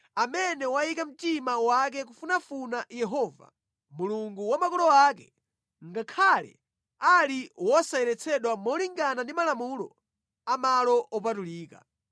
amene wayika mtima wake kufunafuna Yehova, Mulungu wa makolo ake, ngakhale ali wosayeretsedwa molingana ndi malamulo a malo opatulika.”